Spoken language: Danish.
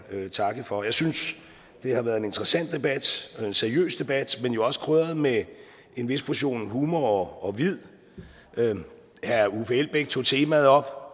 takke for jeg synes det har været en interessant debat og en seriøs debat men jo også krydret med en vis portion humor og vid herre uffe elbæk tog temaet op